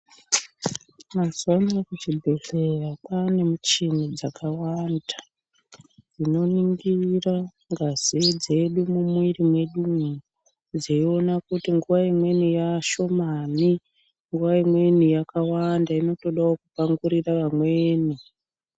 Mazuwa ano kuzvibhedhlera kwaane michini dzakawanda dzinoningira ngazi dzedu mumwiri mwedumwodzeiona kuti nguwa imweni yaashomani nguwa imweni yakawanda inotodawo kupangurira vamweni.